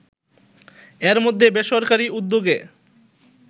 এর মধ্যে বেসরকারি উদ্যোগে